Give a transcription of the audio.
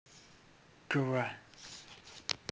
ква